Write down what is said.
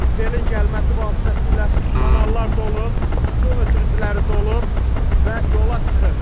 Selin gəlməsi vasitəsilə kanallar dolub, su ötürücüləri dolub və yola çıxır.